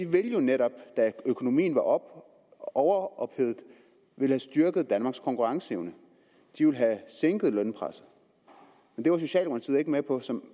ville jo netop da økonomien var overophedet have styrket danmarks konkurrenceevne de ville have sænket lønpresset men det var socialdemokratiet ikke med på så